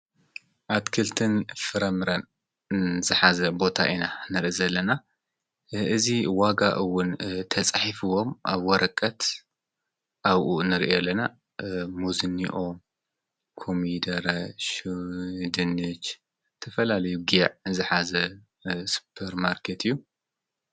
ኣትክልትን ፍረምረን ዝኃዘ ቦታ ኢና ነረ ዘለና እዝ ዋጋኡውን ተጽሒፍዎም ኣብ ወረቀት ኣብኡ ንርዮ ለና ሙዝኒኦ ቆሚደራ ሽድኒት ተፈላልዩገዕ ዝኃዘ ሱጰር ማርከት እዩ::